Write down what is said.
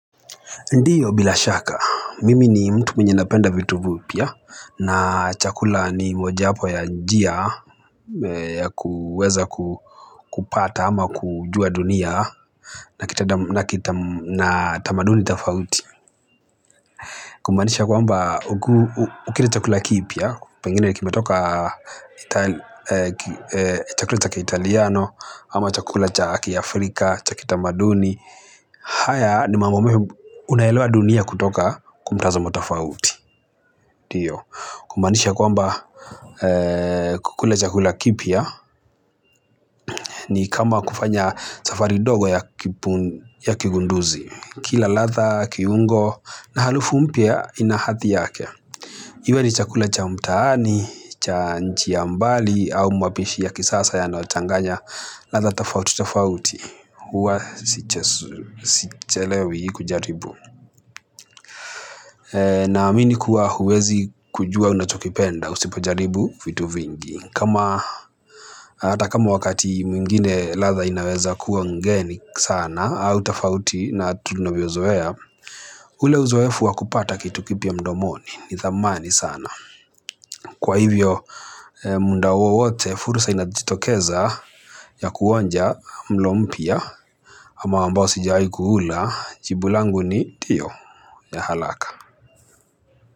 Ndiyo bila shaka. Mimi ni mtu mwenye napenda vitu vioya na chakula ni mojawapo ya njia ya kuweza kupata ama kujua dunia na tamaduni tafauti. Kumaanisha kwamba ukila chakula kipya kana kwama kimetoka chakula chaka italiano, ama chakula chaki Afrika, cha kitamaduni. Haya ni mambo ambayo unaelewa dunia kwa mtazamo tafauti. Kumanisha kwamba kukula chakula kipya ni kama kufanya safari ndogo ya kigunduzi. Kila ladha, kiungo, na harufu mpya ina hadhi yake. Iwe ni chakula cha mtaani nchi ya kimbali au mapishi ya kisasa yanayochanganga ladha tofautitofauti huwa si sichelewi kujaribu. Naamini kuwa huwezi kujua unachokipenda usipojaribu vitu vingi. Kama hata kama wakati mwingine ladha inaweza kuwa ngeni sana au tafauti na tunabiozoea. Ule uzoefu wa kupata kitu kipya mdomoni ni dhamani sana. Kwa hivyo muda wowote fursa inajitokeza ya kuonja mlo mpya ama ambao sijai kuula jibu langu ni hiyo ya haraka.